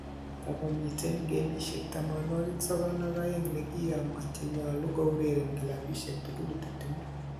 Tago miten gemisiek 92 nkiyomo che nyolu koureren kilabisiek tugul 20